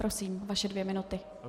Prosím, vaše dvě minuty.